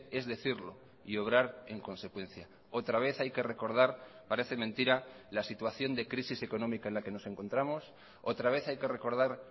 es decirlo y obrar en consecuencia otra vez hay que recordar parece mentira la situación de crisis económica en la que nos encontramos otra vez hay que recordar